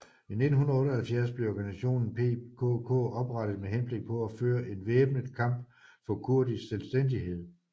I 1978 blev organisationen PKK oprettet med henblik på at føre en væbnet kamp for kurdisk selvstændighed